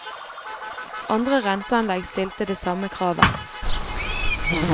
Andre renseanlegg stilte det samme kravet.